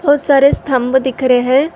बहुत सारे स्तंभ दिख रहे है।